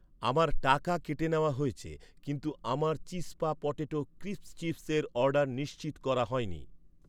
আমার টাকা কেটে নেওয়া হয়েছে, কিন্তু আমার চিজপা পটেটো ক্রিস্প চিপসের অর্ডার নিশ্চিত করা হয়নি